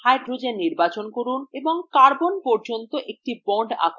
hydrogen নির্বাচন করুন এবং carbon পর্যন্ত একটি bond আঁকুন